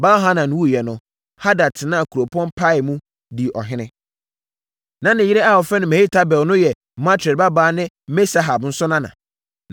Baal-Hanan wuiɛ no, Hadad tenaa kuropɔn Pai mu dii ɔhene. Na ne yere a wɔfrɛ no Mehetabel no yɛ Matred babaa ne Me-Sahab nso nana.